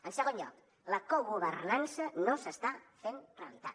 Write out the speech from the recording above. en segon lloc la cogovernança no s’està fent realitat